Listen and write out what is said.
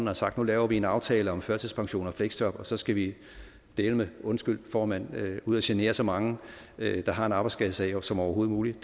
har sagt nu laver vi en aftale om førtidspension og fleksjob og så skal vi dæleme undskyld formand ud at genere så mange der har en arbejdsskadesag som overhovedet muligt